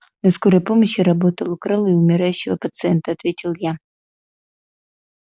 на скорой помощи работал украл у умирающего пациента ответил я